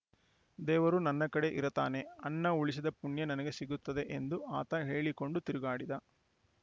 ದೇವರು ನನ್ನ ಕಡೆ ಇರತಾನೆ ಅನ್ನ ಉಳಿಸಿದ ಪುಣ್ಯ ನನಗೆ ಸಿಗುತ್ತೆ ಎಂದು ಆತ ಹೇಳಿ ಕೊಂಡು ತಿರುಗಾಡಿದ